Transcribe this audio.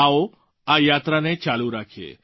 આવો આ યાત્રાને ચાલુ રાખીએ